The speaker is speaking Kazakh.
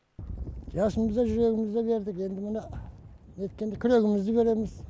жасымызды да жүрегімізді де бердік енді міне неткенде күрегімізді береміз